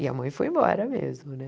E a mãe foi embora mesmo, né?